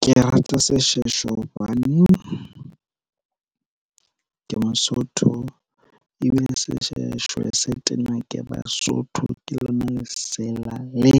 Ke rata seshweshwe hobane, ke Mosotho ebile seshweshwe se tena ke Basotho. Ke lona lesela le